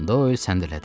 Doyl səndələdi.